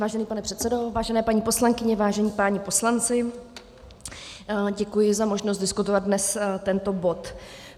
Vážený pane předsedo, vážené paní poslankyně, vážení páni poslanci, děkuji za možnost diskutovat dnes tento bod.